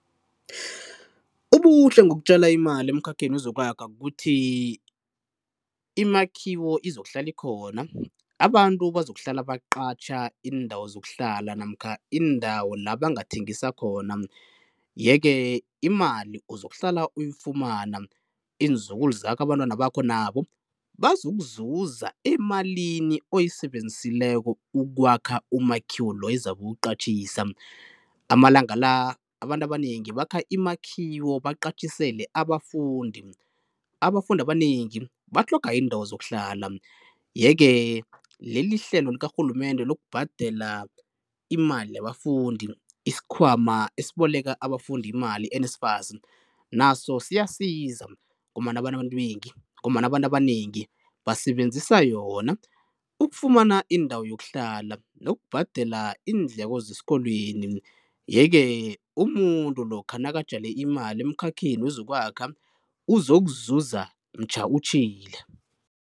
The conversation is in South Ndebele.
Ubuhle ngokutjala imali ekhakheni wezokwakha kukuthi imakhiwo izokuhlala ikhona, abantu bazokuhlala baqatjha iindawo zokuhlala namkha iindawo la bangathengisa khona, ye ke imali uzokuhlala uyifumana, iinzukulu zakho, abantwana bakho nabo bazokuzuza emalini oyisebenzisileko ukwakha umakhiwo loyo ezabe uwuqatjhisa. Amalanga la abantu abanengi bakha imakhiwo baqatjhisele abafundi. Abafundi abanengi batlhoga iindawo zokuhlala ye ke leli hlelo likarhulumende lokubhadela imali yabafundi, isikhwama esiboleka abafundi imali i-NSFAS naso siyasiza ngombana abantu abanengi basebenzisa yona ukufumana indawo yokuhlala nokubhadela iindleko zesikolweni. Ye ke umuntu lokha nakatjale imali ekhakheni wezokwakha uzokuzuza mtjha utjhile.